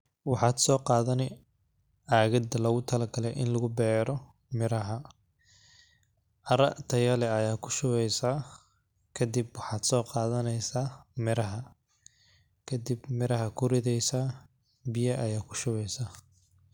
Waxad soo qaadany agadda lagu talo galay in lagu beero miraha. caraa tayale ayaa ku shubeysaa, kadib waxad soo qadanaysa miraha. Kadib miraha ku ridaysa biya ayaa ku shubeysa.